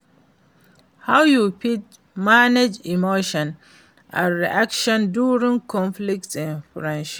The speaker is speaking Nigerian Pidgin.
how you fit manage emotions and reactions during conflict in friendship?